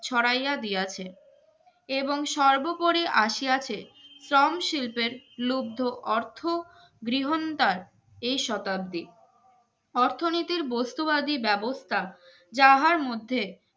ছড়াইয়া দিয়াছে এবং সর্বোপরি আসিয়াছে শ্রম শিল্পের লুব্ধ অর্থ গৃহন্ডার এই শতাব্দী অর্থনীতির বস্তুবাদী ব্যাবস্তা যাহার মধ্যে